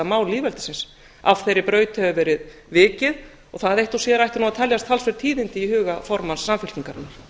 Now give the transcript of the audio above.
mál lýðveldisins og það eitt og sér ættu að teljast talsverð tíðindi í huga formanns samfylkingarinnar